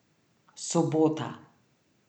Sobota.